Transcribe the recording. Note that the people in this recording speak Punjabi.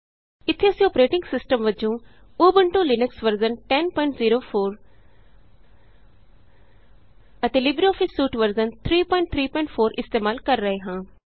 ਇਥੇ ਅਸੀਂ ਅੋਪਰੇਟਿੰਗ ਸਿਸਟਮ ਵਜੋਂ ਉਬੰਟੂ ਲਿਨਕਸ ਵਰਜ਼ਨ 1004 ਅਤੇ ਲਿਬਰੇਆਫਿਸ ਸੂਟ ਵਰਜ਼ਨ 334 ਇਸਤੇਮਾਲ ਕਰ ਰਹੇ ਹਾਂ